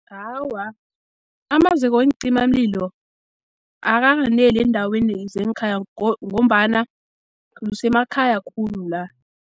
Awa, amaziko weencimamlilo akakaneli eendaweni zengkhaya, ngombana kusemakhaya khulu la.